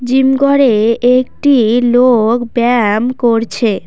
Gym ঘরে একটি লোক ব্যায়াম করছে।